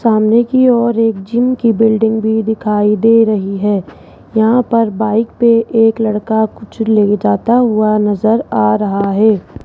सामने की और एक जिम की बिल्डिंग भी दिखाई दे रही है यहां पर बाइक पे एक लड़का कुछ ले जाता हुआ नजर आ रहा है।